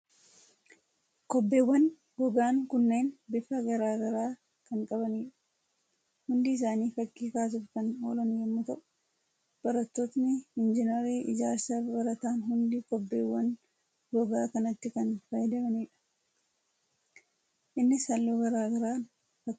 Kobbeewwan gogaan kunneen bifa garaa kan qabanidha. Hundi isaanii fakkii kaasuuf kan oolan yommuu ta'u, barattootni Injiinarii ijaarsaa baratan hundi kobbeewwan gogaa kanatti kan fayyadamanidha. Innis halluu garaa garaan fakkii kaasa.